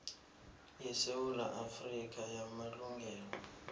yesewula afrika yamalungelo